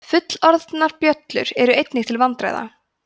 fullorðnar bjöllur eru einnig til vandræða